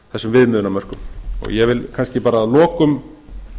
þessum viðmiðunarmörkum ég vil kannski bara að lokum